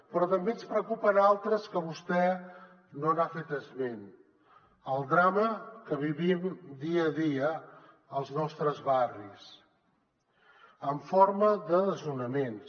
però també ens en preocupen altres que vostè no n’ha fet esment el drama que vivim dia a dia als nostres barris en forma de desnonaments